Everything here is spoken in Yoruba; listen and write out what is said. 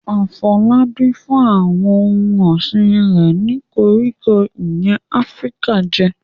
Afolabi fún àwọn ohun ọ̀sìn rẹ̀ ní koríko ìyẹ́ Áfíríkà jẹ.